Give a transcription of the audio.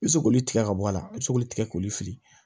I bɛ se k'olu tigɛ ka bɔ a la i bɛ se k'olu tigɛ k'olu fili